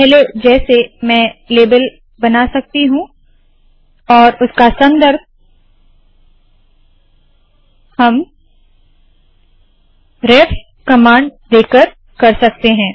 पहले जैसे मैं लेबल बना सकती हूँ और उसका संदर्भ हम रेफ कमांड देकर कर सकते है